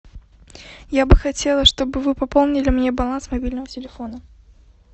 я бы хотела чтобы вы пополнили мне баланс мобильного телефона